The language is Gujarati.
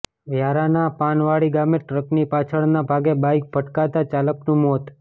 વ્યારાના પાનવાડી ગામે ટ્રકની પાછળના ભાગે બાઇક ભટકાતાં ચાલકનું મોત